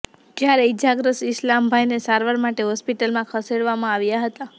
જ્યારે ઈજાગ્રસ્ત ઈસમાઈલભાઈને સારવાર માટે હોસ્પિટલમાં ખસેડવામાં આવ્યા હતા